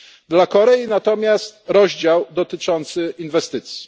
Dla Korei natomiast to rozdział dotyczący inwestycji.